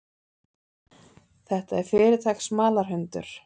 Þetta er fyrirtaks smalahundur.